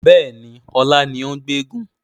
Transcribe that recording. Bẹ́ẹ̀ni, ọlá ni ó gbé egúngún